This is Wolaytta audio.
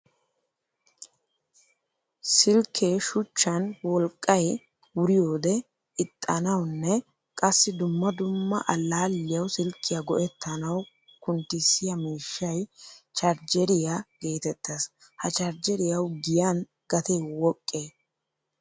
Silke shuchchan wolqqay wuriyde exxanawunne qassi dumma dumma allaliyawu silkiyaa go'ettanawu kunntisiyaa miishshay charjjeriya geetettees. Ha charjjeriyawu giyan gatee woqqee?